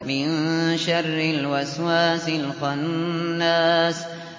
مِن شَرِّ الْوَسْوَاسِ الْخَنَّاسِ